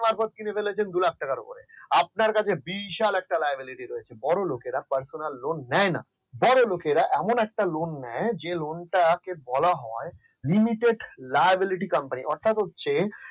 আপনি সর্বোচ্চ কিনে ফেলেছেন দু লাখ টাকার উপরে আপনার কাছে বিশাল একটা liability রয়েছে বড় লোকেরা personal online বড় লোকেরা এমন একটা lone নেয় যে lone তাকে বলা হয় limited libarity company অর্থাৎ হচ্ছে